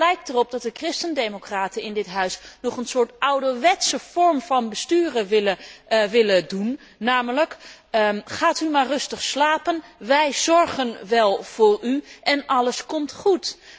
En het lijkt erop dat de christendemocraten in dit Huis nog een soort ouderwetse vorm van bestuur willen, namelijk Gaat u maar rustig slapen, wij zorgen wel voor u en alles komt goed.